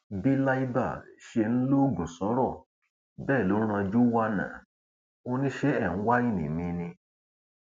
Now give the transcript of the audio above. bí libre ṣe ń lọgun sọrọ bẹẹ ló ń ranjú wánán ò ní ṣe é ń wáìnì mi ni